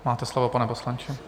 Máte slovo, pane poslanče.